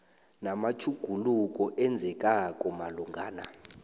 namatjhuguluko enzekako malungana